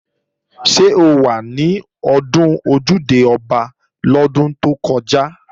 Ṣé o wà ní ọdún Ojúde-Ọba lọ́dún tó kọjá?